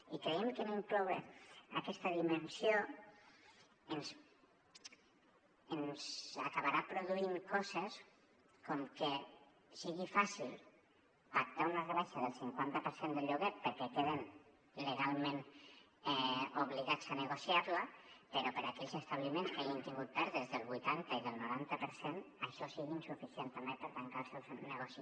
i creiem que no incloure aquesta dimensió ens acabarà produint coses com que sigui fàcil pactar una rebaixa del cinquanta per cent del lloguer perquè queden legalment obligats a negociar la però per a aquells establiments que hagin tingut pèrdues del vuitanta i del noranta per cent això sigui insuficient també per tancar el seu negoci